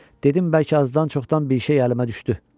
Dedim bəlkə azdan-çoxdan bir şey əlimə düşdü.